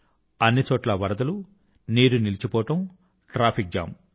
అన్ని చోట్లా వరదలు నీరు నిలచిపోవడం ట్రాఫిక్ జామ్